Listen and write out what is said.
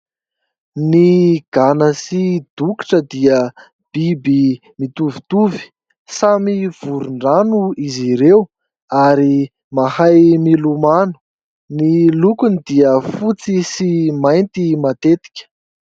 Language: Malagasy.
Ny gana sy dokotra dia biby mitovitovy. Samy voron-drano izy ireo ary mahay milomano. Ny lokony dia fotsy sy mainty matetika.